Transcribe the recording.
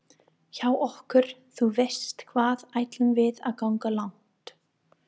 hjá okkur þú veist hvað ætlum við að ganga langt